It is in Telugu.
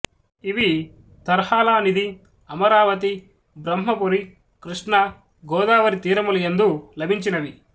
ఇవి తర్హాళానిధి అమరావతి బ్రహ్మపురి కృష్ణా గోదావరి తీరములయందు లభించినవి